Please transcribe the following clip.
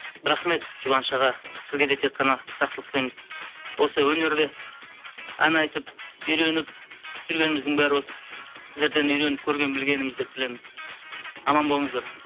рахмет жұбаныш аға сізге де тек қана жақсылық тілейміз осы өнерде ән айтып үйреніп жүргеніміздің бәрі осы сіздерден үйреніп көрген білгеніміз деп білеміз аман болыңыздар